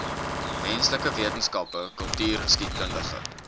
menslike wetenskappe kultureelgeskiedkundige